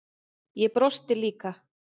Ég brosti líka.